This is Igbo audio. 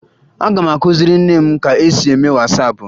Aga m akụziri nne m ka e si eme Wasaapụ